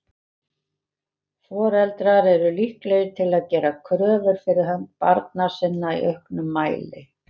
Foreldrar eru líklegir til að gera kröfur fyrir hönd barna sinna í auknum mæli.